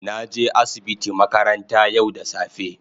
na je asibiti makaranta yau da safe.